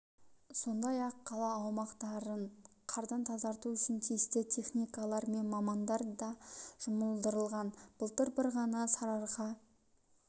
сондай-ақ қала аумақтарын қардан тазарту үшін тиісті техникалар мен мамандар да жұмылдырылған былтыр бір ғана сарыарқа